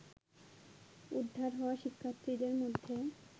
উদ্ধার হওয়া শিক্ষার্থীদের মধ্যে